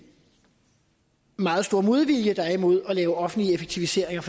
meget store modvilje der er imod at lave offentlige effektiviseringer